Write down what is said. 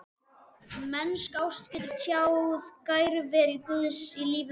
Mennsk ást getur tjáð nærveru Guðs í lífi manna.